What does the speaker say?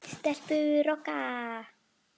Stelpur Rokka!